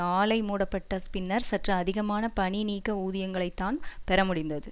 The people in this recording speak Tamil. ஆலை மூடப்பட்ட பின்னர் சற்று அதிகமான பணிநீக்க ஊதியங்களைத்தான் பெற முடிந்தது